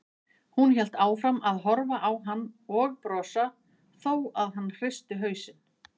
Hún hélt áfram að horfa á hann og brosa þó að hann hristi hausinn.